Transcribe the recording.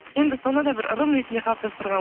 енді сонда да бір ырым ретінде қалыптастырған